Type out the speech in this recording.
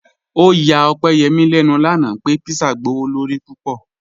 Ọ̀yà Ọ̀pẹ́yẹ́mí lẹ́nu lánà pẹ̀ pízzà gbọwọ̀lọ̀rí púpọ̀.